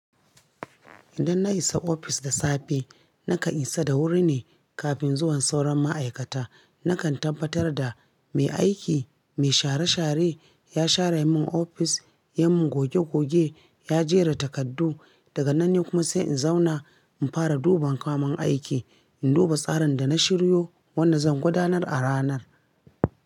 Idan na isa ofis da safe, nakan isa da wuri ne kafin zuwan sauran ma'aikata. Nakan tambatar da mai aiki, mai share share ya share mun ofis, yamin goge goge, ya jera takardu. Daga nan ne kuma sai in zauna in fara duban kamun aiki. In duba tsarin da na shiryo, wanda zan gudanar a ranar.